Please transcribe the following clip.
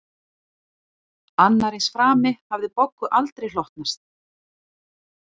Annar eins frami hafði Boggu aldrei hlotnast